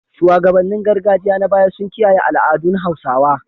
Shugabannin gargajiya na baya sun kiyaye al’adun Hausawa.